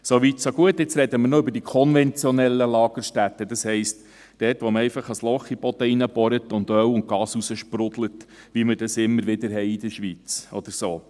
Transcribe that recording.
So weit, so gut: Nun sprechen wir noch über die konventionellen Lagerstätten, das heisst über die Stellen, an denen man einfach ein Loch in den Boden bohrt, und Öl und Gas heraussprudeln, wie es in der Schweiz immer wieder der Fall ist, oder so.